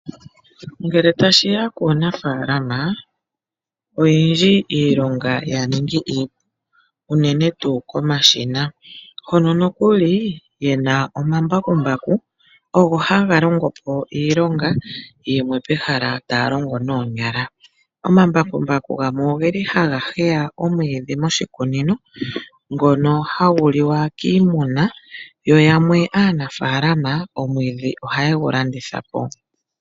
Ngele tashiya kuunafaalama oyendji iilonga ya ningi iipu unene tuu komashina hono nokuli yena omambakumbaku ogo haga longo po iilonga yimwe pehala taya longo noonyala. Omambakumbaku gamwe ogeli haga heya omwiidhi moshikunino ngono hagu liwa kiimuna yo yamwe aanafaalama omwiidhi ohaye gu landithapo.